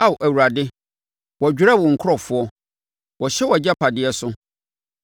Ao Awurade, wɔdwerɛ wo nkurɔfoɔ; wɔhyɛ wʼagyapadeɛ so.